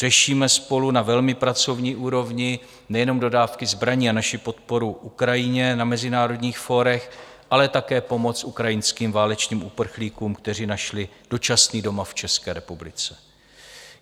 Řešíme spolu na velmi pracovní úrovni nejenom dodávky zbraní a naši podporu Ukrajině na mezinárodních fórech, ale také pomoc ukrajinským válečným uprchlíkům, kteří našli dočasný domov v České republice.